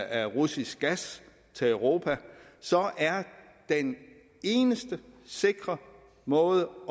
af russisk gas til europa så er den eneste sikre måde